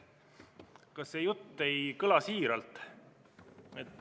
Aga see jutt ei kõla siiralt.